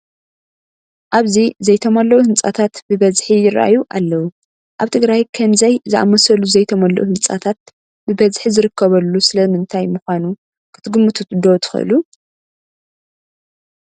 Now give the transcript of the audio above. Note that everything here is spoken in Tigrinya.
ኣብዚ ዘይተመልኡ ህንፃታት ብበዝሒ ይርአዩ ኣለዉ፡፡ ኣብ ትግራይ ከምዚ ዝኣምሰሉ ዘይተመልኡ ህንፃታት ብበዝሒ ዝርከቡ ስለ ምንታይ ምዃኑ ክትግምቱ ዶ ትኽእሉ?